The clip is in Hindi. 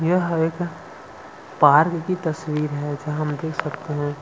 यह एक पार्क की तस्वीर है जहाँ हम देख सकते है।